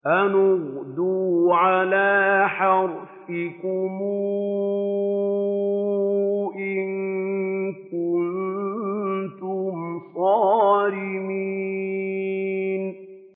أَنِ اغْدُوا عَلَىٰ حَرْثِكُمْ إِن كُنتُمْ صَارِمِينَ